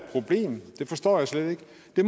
det